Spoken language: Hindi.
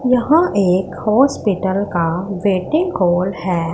यहां एक हॉस्पिटल का वेडिंग हॉल है।